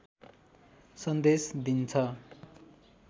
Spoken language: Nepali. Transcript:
सन्देश दिन्छ